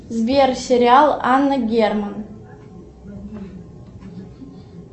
сбер сериал анна герман